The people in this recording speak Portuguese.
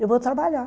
Eu vou trabalhar.